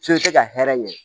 F'i tɛ ka hɛrɛ ɲɛ